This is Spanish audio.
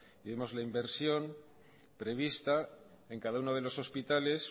vemos la inversión prevista en cada uno de los hospitales